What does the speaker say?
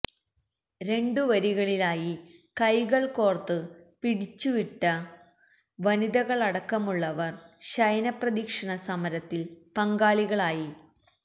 രണ്ടുവരികളിലായി കൈകൾ കോർത്ത് പിടിച്ചു വിട്ട വനിതകളടക്കമുള്ളവർ ശയനപ്രദക്ഷിണ സമരത്തിൽ പങ്കാളികളായി